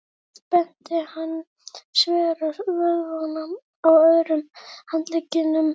Svo spennti hann svera vöðvana á öðrum handleggnum.